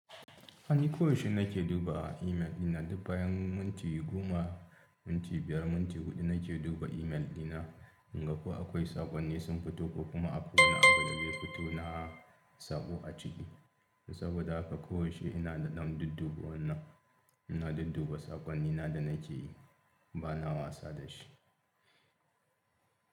Ni ko yaushe nake duba email dina dub bayan minti goma, minti biyar, minti huɗu nake duba email dina in ga ko akwai saƙonni sun fito ko kuma app wani abin da ya fito na saɓo a ciki. Saboda haka ko yaushe ina da dam dudduɓe wannan, ina dudduba saƙonnina da nake yi, bana wasa da shi.